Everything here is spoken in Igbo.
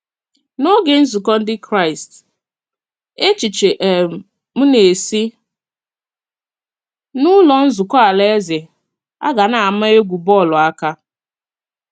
N’ógè nzukọ Ndị Kraịst, èchiche um m nā-esi n’Ụlọ Nzukọ Alaeze agà n’ámá egwú bọ́ọlụ aka.